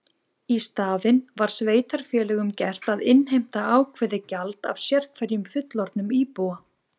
Í staðinn var sveitarfélögum gert að innheimta ákveðið gjald af sérhverjum fullorðnum íbúa.